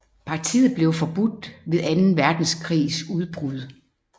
Partiet blev forbudt ved anden verdenskrigs udbrud